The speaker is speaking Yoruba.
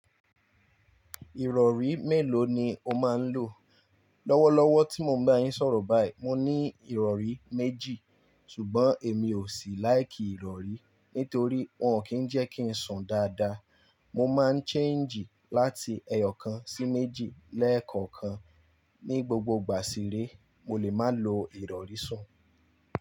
Ìrọ̀rí mélòó ni o máa ń lò? Tí mo ń bá yín sọ̀rọ̀ báyìí, mo ní ìrọ̀rí méjì, ṣùgbọ́n èmi ò sí láìkí ìrọ̀rí, nítorí wọ́n kì í jẹ́ kí ń sùn dáadáa. Mo máa ń change láti ẹyọ kan sí méjì lẹ́ẹ̀kọ̀kan. Ni gbogbo ìgbà sí re, mo lè máa lo ìrọ̀rí sùn.